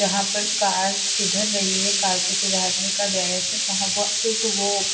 जहाँ पर कार सुधर रही है कार को सुधारने का गैरेज वहाँ वो सिर्फ वो--